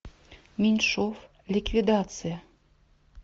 меньшов ликвидация